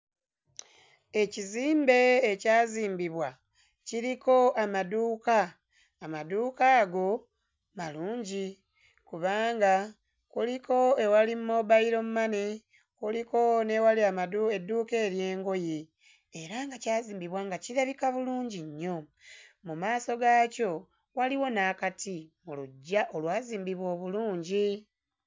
Ekizimbe ekyazimbibwa kiriko amaduuka amaduuka ago malungi kubanga kuliko ewali mobile money kuliko n'ewali amadu edduuka ery'engoye era nga kyazimbibwa nga kirabika bulungi nnyo mu maaso gaakyo waliwo n'akati mu luggya olwazimbibwa obulungi.